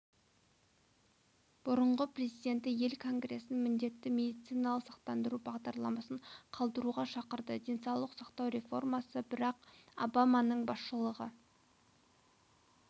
бұрынғы президенті ел конгресін міндетті медициналық сақтандыру бағдарламасын қалдыруға шақырды денсаулық сақтау реформасы барак обаманың басшылығы